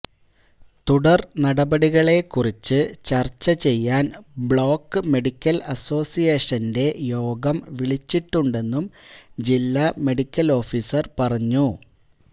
തുടര് നടപടികളെക്കുറിച്ച് ചര്ച്ച ചെയ്യാന് ബ്ലോക്ക് മെഡിക്കല് അസോസിയേഷന്റെ യോഗം വിളിച്ചിട്ടുണ്ടെന്നും ജില്ലാ മെഡിക്കല് ഓഫീസര് പറഞ്ഞു